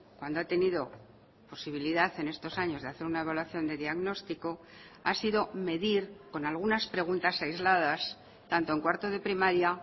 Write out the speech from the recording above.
cuando ha tenido posibilidad en estos años de hacer una evaluación de diagnóstico ha sido medir con algunas preguntas aisladas tanto en cuarto de primaria